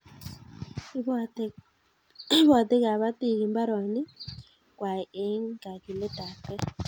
Iboti kabatiik imbaroniik kwai eng kagiletabgei.